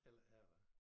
Heller ikke her da